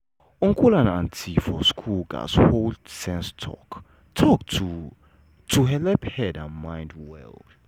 uncle and auntie for school gats hold sense talk-talk to to helep keep head and mind well.